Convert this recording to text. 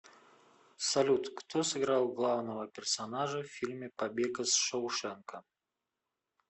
салют кто сыграл главного персонажа в фильме побег из шоушенка